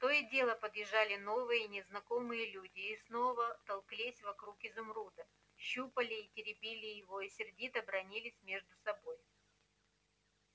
то и дело подъезжали новые незнакомые люди и снова толклись вокруг изумруда щупали и теребили его и сердито бранились между собою